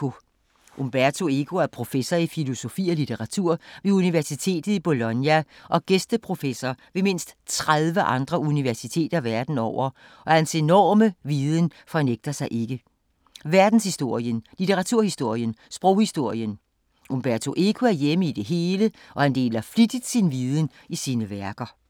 Umberto Eco er professor i filosofi og litteratur ved universitetet i Bologna og gæsteprofessor ved mindst 30 andre universiteter verden over og hans enorme viden fornægter sig ikke. Verdenshistorien, litteraturhistorien, sproghistorien. Umberto Eco er hjemme i det hele og han deler flittigt sin viden i sine værker.